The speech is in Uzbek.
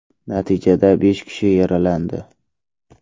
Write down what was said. Natijada besh kishi yaralandi.